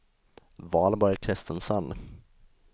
Valborg Kristensson